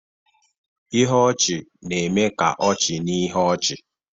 Ihe ọchị na-eme ka ọchị na ihe ọchị